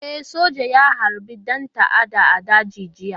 E, soja ya harbi ɗan ta'adda a daji jiya.